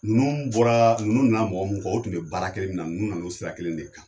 Ninnu bɔra ninnu na mɔgɔ mu kɔ o tun be baara kelen min na nunnu nana o sira kelen de kan